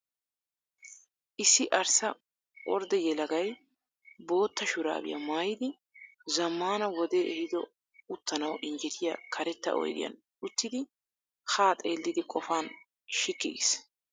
Issi arssa ordde yelagay bootta shuraabiya mayyidi zammaana wodee ehido uttanawu injjetiya karetta oyidiyan uttidi haa xeelliiddi qofaa shikki giis.